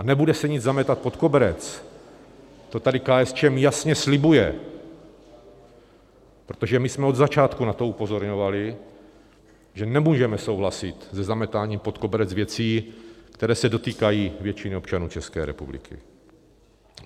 A nebude se nic zametat pod koberec, to tady KSČM jasně slibuje, protože my jsme od začátku na to upozorňovali, že nemůžeme souhlasit se zametáním pod koberec věcí, které se dotýkají většiny občanů České republiky.